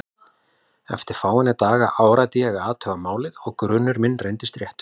Eftir fáeina daga áræddi ég að athuga málið og grunur minn reyndist réttur.